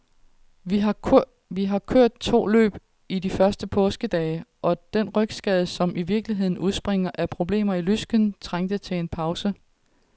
Jeg har kørt to løb i de første påskedage, og den rygskade, som i virkeligheden udspringer af problemer i lysken, trængte til en pause.